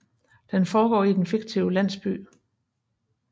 Den foregår i den fiktive landsby St